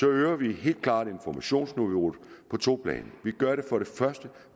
øger vi helt klart informationsniveauet på to planer vi gør det for det første